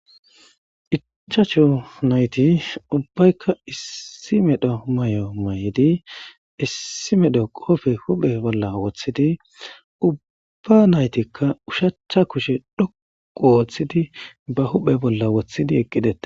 cchacho nayti ubbaykka issi medho may7o may7di issi medho qofe huphe bolla woththidi ubba naytikka ushachcha kushe dhoqu wooththidi ba huphe bolla woththidi eqqidea.